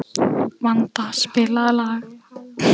Vanda, spilaðu lag.